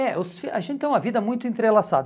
É, os fi a gente tem uma vida muito entrelaçada.